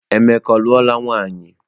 Emeka ọ luola nwaanyị?